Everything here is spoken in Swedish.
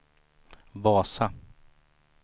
Vasa